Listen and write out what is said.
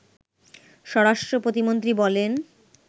স্বরাষ্টপ্রতিমন্ত্রী বলেন